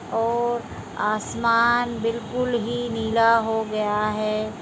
और आसमान बिल्कुल ही नीला हो गया है।